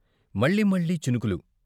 మళ్ళీ మళ్ళీ చినుకులు.